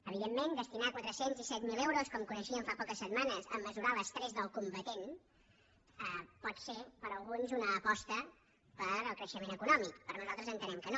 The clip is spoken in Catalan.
evidentment destinar quatre cents i disset mil euros com coneixíem fa poques setmanes a mesurar l’estrès del combatent pot ser per a alguns una aposta pel creixement econòmic però nosaltres entenem que no